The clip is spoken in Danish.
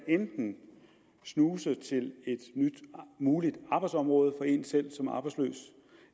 enten snuse til et nyt muligt arbejdsområde for en selv